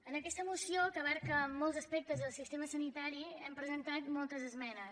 en aquesta moció que abasta molts aspectes del sistema sanitari hem presentat moltes esmenes